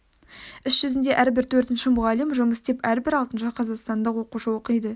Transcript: іс жүзінде әрбір төртінші мұғалім жұмыс істеп әрбір алтыншы қазақстандық оқушы оқиды